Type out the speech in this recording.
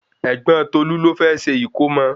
Ẹ̀gbọ́n Tolu ló fẹ́ se ìkómọ